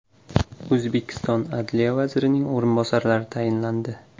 O‘zbekiston adliya vazirining o‘rinbosarlari tayinlandi.